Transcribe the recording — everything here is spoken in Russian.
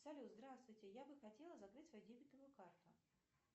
салют здравствуйте я бы хотела закрыть свою дебетовую карту